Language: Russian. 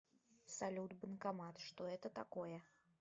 салют банкомат что это такое